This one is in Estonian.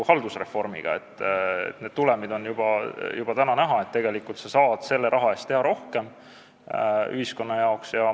Haldusreformi tulemid on juba täna näha, tegelikult saab sellesama raha eest teha ühiskonna jaoks rohkem.